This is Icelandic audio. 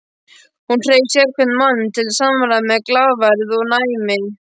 Hún hreif sérhvern mann til samræðna með glaðværð og næmi.